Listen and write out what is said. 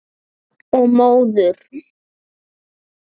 Og móður.